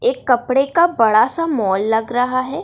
एक कपड़े का बड़ा सा मॉल लग रहा है।